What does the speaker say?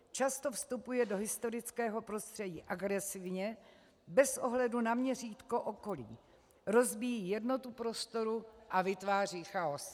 Často vstupuje do historického prostředí agresivně bez ohledu na měřítko okolí, rozbíjí jednotu prostoru a vytváří chaos.